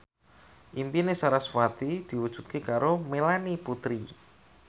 impine sarasvati diwujudke karo Melanie Putri